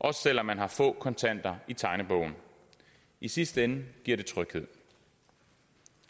også selv om man har få kontanter i tegnebogen i sidste ende giver det tryghed